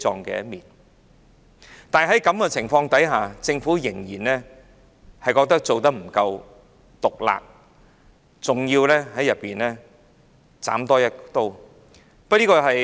即使在這個情況下，政府仍然認為未夠毒辣，還要再多加一刀。